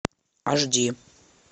аш ди